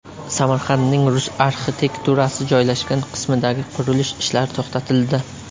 Samarqandning rus arxitekturasi joylashgan qismidagi qurilish ishlari to‘xtatildi.